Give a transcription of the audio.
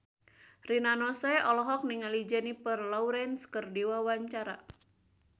Rina Nose olohok ningali Jennifer Lawrence keur diwawancara